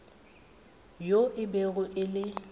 yoo e bego e le